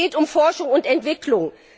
Es geht um Forschung und Entwicklung.